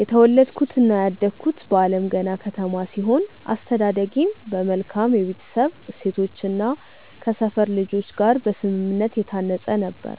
የተወለድኩትና ያደግኩት በአለምገና ከተማ ሲሆን፣ አስተዳደጌም በመልካም የቤተሰብ እሴቶችና ከሰፈር ልጆች ጋር በስምምነት የታነጸ ነበር።